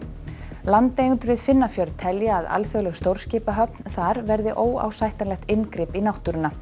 landeigendur við telja að alþjóðleg stórskipahöfn þar verði óásættanlegt inngrip í náttúruna